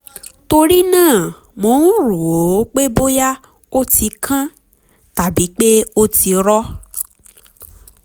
torí náà mo ń rò ó pé bóyá ó ti kán tàbí pé ó ti rọ